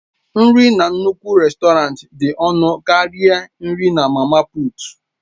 Nri na nnukwu rèstọrantị dị ọnụ karịa nri mama puut.